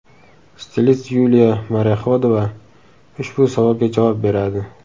Stilist Yuliya Morexodova ushbu savolga javob beradi .